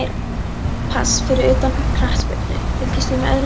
Pass Fyrir utan knattspyrnu, fylgist þú með öðrum íþróttum?